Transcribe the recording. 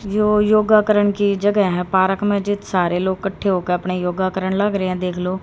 यो योगा करन की जगह है। पार्क में जिथ सारे लोग कट्ठे होके आपने योगा करन लाग रहे हैं देख लो।